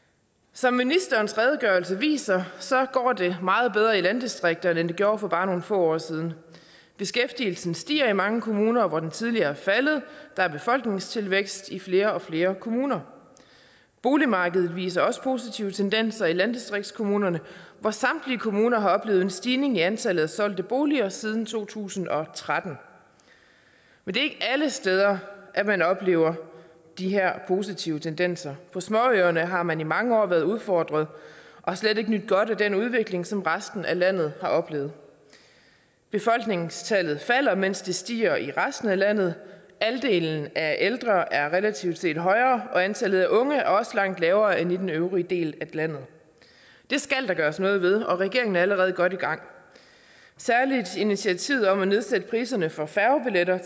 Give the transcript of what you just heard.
som ministerens redegørelse viser går det meget bedre i landdistrikterne end det gjorde for bare nogle få år siden beskæftigelsen stiger i mange kommuner hvor den tidligere er faldet der er befolkningstilvækst i flere og flere kommuner boligmarkedet viser også positive tendenser i landdistriktskommunerne hvor samtlige kommuner har oplevet en stigning i antallet af solgte boliger siden to tusind og tretten men det er ikke alle steder at man oplever de her positive tendenser på småøerne har man i mange år været udfordret og slet ikke nydt godt af den udvikling som resten af landet har oplevet befolkningstallet falder mens det stiger i resten af landet andelen af ældre er blevet relativt højere og antallet af unge er også langt lavere end i den øvrige del af landet det skal der gøres noget ved og regeringen er allerede godt i gang særlig initiativet om at nedsætte priserne for færgebilletter